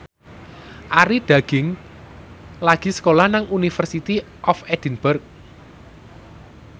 Arie Daginks lagi sekolah nang University of Edinburgh